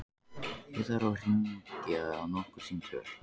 Ég þarf að hringja nokkur símtöl.